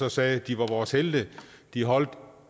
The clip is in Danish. og sagde at de var vores helte de holdt